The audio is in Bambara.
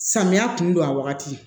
Samiya kun don a wagati